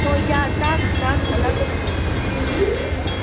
но я так так она запнулась